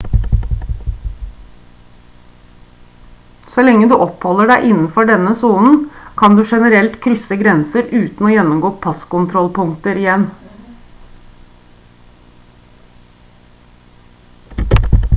så lenge du oppholder deg innenfor denne sonen kan du generelt sett krysse grenser uten å gjennomgå passkontrollpunkter igjen